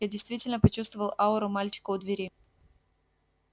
я действительно почувствовал ауру мальчика у двери